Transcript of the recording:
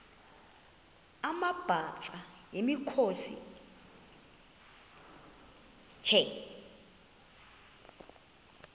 amabhaca yimikhosi the